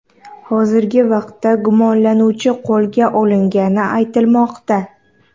Hozirgi vaqtda gumonlanuvchi qo‘lga olingani aytilmoqda.